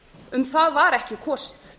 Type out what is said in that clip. um það var ekki kosið